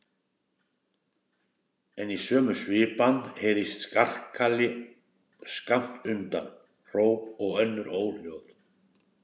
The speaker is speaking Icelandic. En í sömu svipan heyrist skarkali skammt undan, hróp og önnur óhljóð.